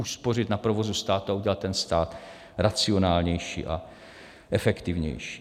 Uspořit na provozu státu a udělat ten stát racionálnější a efektivnější.